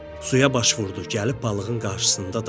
Suya baş vurdu, gəlib balığın qarşısında dayandı.